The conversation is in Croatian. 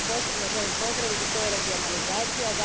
Ono što posebno želim pozdraviti, to je regionalizacija.